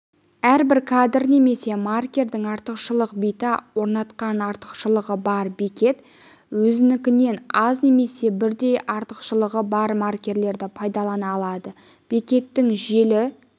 әрбір кадр немесе маркердің артықшылық биті орнатқан артықшылығы бар бекет өзінікінен аз немесе бірдей артықшылығы бар маркерді пайдалана алады бекеттің желі